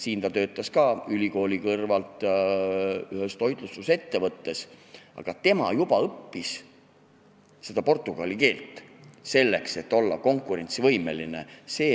Siin ta töötas ka ülikooli kõrvalt ühes toitlustusettevõttes, aga ta õppis portugali keelt, selleks et olla seal konkurentsivõimeline.